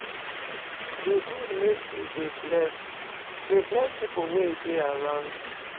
E good make you dey bless dey bless pipu wey dey around you.